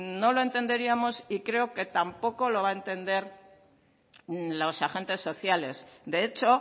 no lo entenderíamos y creo que tampoco lo van a entender los agente sociales de hecho